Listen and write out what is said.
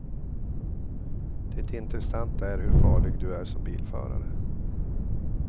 Det intressanta är hur farlig du är som bilförare.